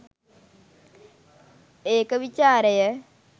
ඒක විචාරය